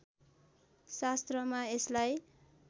शास्त्रमा यसलाई